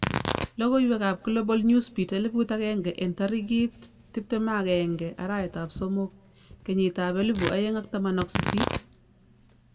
Logoiwek ab Global Newsbeat 1000 en tarikit 21/03/2018